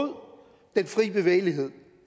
den frie bevægelighed